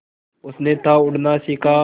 उसने था उड़ना सिखा